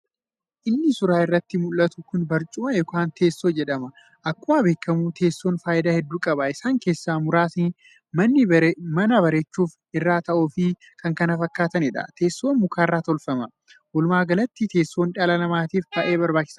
Inni suuraa irratti muldhatu kun barcumaa yookiin teessoo jedhama. Akkuma beekkamu teessoon faayidaa hedduu qaba. Isaan keessaa muraasni mana bareechuuf, irra taa'uufi k.k.f dha. Teessoon mukarraa tolfama. Wolumaagalatti teessoon dhala namaatiif baayee barbaachisaadha.